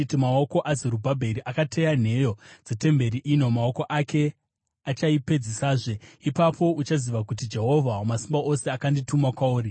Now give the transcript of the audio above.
“Maoko aZerubhabheri akateya nheyo dzetemberi ino; maoko ake achaipedzisazve. Ipapo uchaziva kuti Jehovha Wamasimba Ose akandituma kwauri.